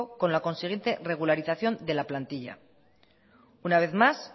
con la consiguiente regularización de la plantilla una vez más